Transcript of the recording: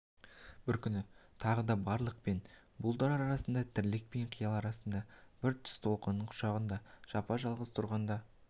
бір күні тағы да барлық пен бұлдыр арасындай тірлік пен қиял арасындай бір түс толқынының құшағында жапа-жалғыз тұрғанда